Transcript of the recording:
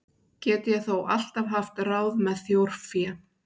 Get ég þó alltaf haft ráð með þjórfé.